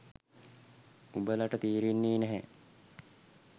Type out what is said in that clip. උබලට තේරෙන්නේ නැහැ